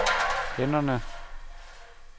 hænderne